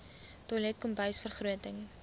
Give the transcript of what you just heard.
toilet kombuis vergroting